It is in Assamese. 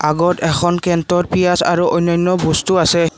আগত এখন কেন্তৰ পিয়াজ আৰু অনান্য বস্তু আছে।